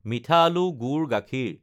মিঠা আলু, গুড়, গাখীৰ